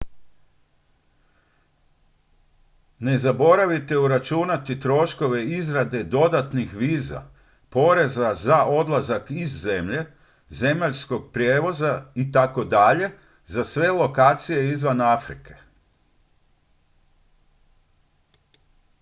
ne zaboravite uračunati troškove izrade dodatnih viza poreza za odlazak iz zemlje zemaljskog prijevoza itd za sve lokacije izvan afrike